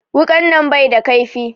Wuƙan nan bai da ƙaifi